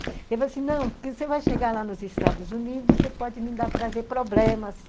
Ele falou assim, não, porque você vai chegar lá nos Estados Unidos, você pode me trazer problemas.